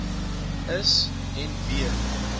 is en b